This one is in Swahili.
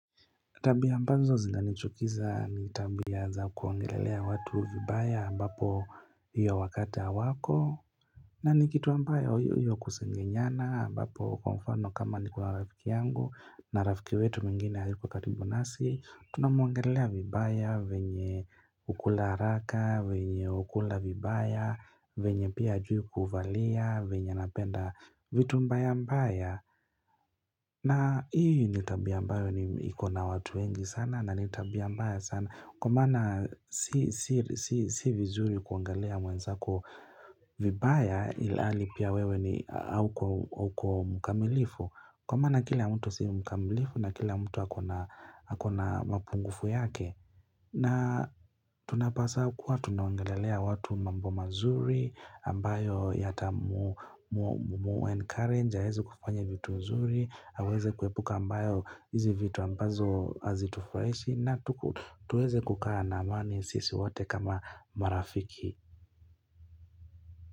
Tabia ambazo zinanichukiza ni tabia za kuongelelea watu vibaya ambapo hiyo wakati hawako na ni kitu ambayo hiyo kusengenyana ambapo kwa mfano kama niko na rafiki yangu na rafiki wetu mwingine hayuko karibu nasi tunamuongelea vibaya venye hukula haraka, vyenye hukula vibaya, venye pia hajui kuvalia venye anapenda, vitu mbaya mbaya na hii ni tabia ambayo ni, iko na watu wengi sana na ni tabia mbaya sana kwa maana si si vizuri kuongelea mwenzako vibaya ilhali pia wewe ni, hauko mkamilifu. Kwa maana kila mtu si mukamilifu na kila mtu ako na mapungufu yake. Na tunapaswa kuwa tunaongelelea watu mambo mazuri ambayo yata mu encourage aweze kufanya vitu nzuri, aweze kuepuka ambayo, hizi vitu ambazo hazitufurahishi na tuweze kukaa na amani sisi wote kama marafiki.